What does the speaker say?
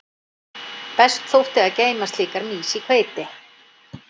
Best þótti að geyma slíkar mýs í hveiti.